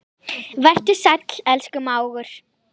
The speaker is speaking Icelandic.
Vertu sæll, elsku mágur.